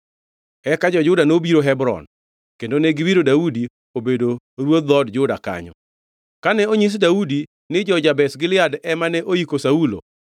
Eka jo-Juda nobiro Hebron, kendo ne giwiro Daudi obedo ruodh dhood Juda kanyo. Kane onyis Daudi ni jo-Jabesh Gilead ema ne oiko Saulo,